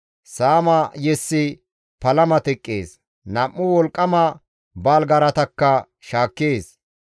Saama yessi palama teqqees; nam7u wolqqama baaligaaratakka shaakkees.